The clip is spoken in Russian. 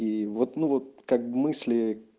и вот ну вот как бы мысли